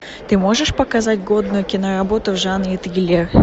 ты можешь показать годную киноработу в жанре триллер